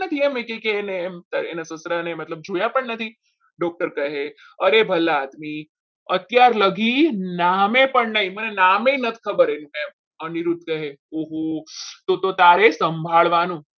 એ એમ કહે કે એને અને મતલબ જોયા પણ નથી doctor કહે અરે ભલા આદમી અત્યારે લગી નામે પણ નહીં નામ પણ નથી ખબર એમને એમ અનિરુદ્ધ કહે ઓહો તો તો તારે સંભાળવાનું